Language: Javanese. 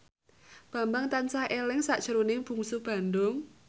Bambang tansah eling sakjroning Bungsu Bandung